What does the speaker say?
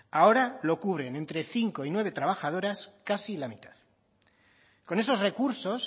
ahora lo cubren entre cinco y nueve trabajadoras casi la mitad con esos recursos